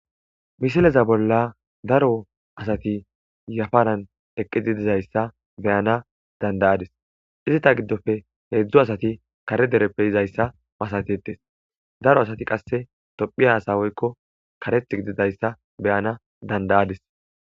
misileza bolla daro asati yafaran eqqididizayssa beyana dandayadis izita giddofe heedzdzu asati kare dereppe izayssa masatetes daro asati qasse tophi asa woykko kareth gididayssa beyana dandayadis